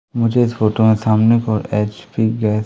मुझे इस फोटो में सामने की ओर एच_पी गैस --